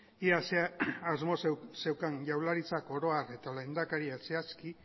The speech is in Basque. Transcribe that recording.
ea zer asmo zeukan jaurlaritzak oro har eta lehendakariak zehazki